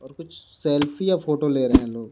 और कुछ सेल्फी या फोटो ले रहे हैं लोग.